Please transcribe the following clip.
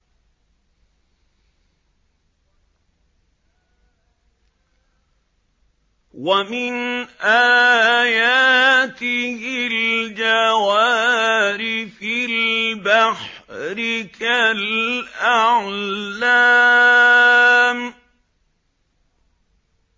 وَمِنْ آيَاتِهِ الْجَوَارِ فِي الْبَحْرِ كَالْأَعْلَامِ